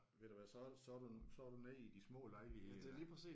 Ved du hvad så så er du så er du nede i de små lejligheder